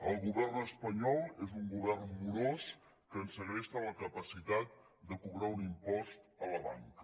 el govern espanyol és un govern morós que ens segresta la capacitat de cobrar un impost a la banca